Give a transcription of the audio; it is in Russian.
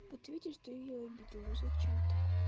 вот видишь ты её обидел ну зачем так